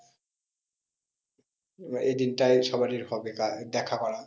আহ এদিনটা সবাইয়ের হবে দেখা করা।